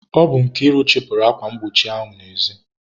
Ọ bụ Nkiru chịpụrụ akwa mgbochi n'ezi.